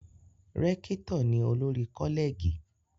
Rékítò ni olórí Kọ́lẹ̀gì